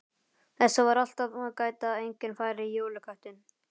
Þess var alltaf gætt að enginn færi í jólaköttinn.